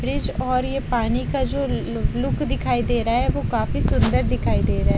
fridge और ये पानी का जो लू लुक दिखाई दे रहा है वो काफी सुंदर दिखाई दे रहा --